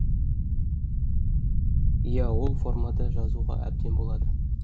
иә ол формада жазуға әбден болады